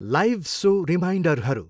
Live show रिमाइन्डरहरू।